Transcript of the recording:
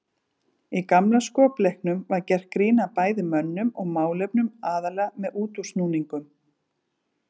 Í gamla skopleiknum var gert grín að bæði mönnum og málefnum aðallega með útúrsnúningum.